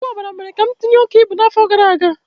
Ọgwụ ọbara mere ka m tinye oke ibu n'afọ gara aga